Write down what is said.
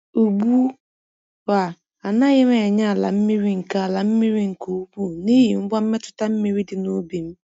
Ugbu a, anaghị m enye ala mmiri nke ala mmiri nke ukwuu n’ihi ngwa mmetụta mmiri dị n’ubi m.